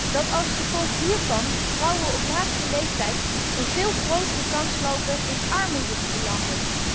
3 dat als gevolg hiervan vrouwen op latere leeftijd een veel grotere kans lopen in armoede te belanden.